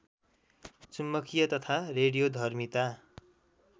चुम्बकीय तथा रेडियोधर्मिता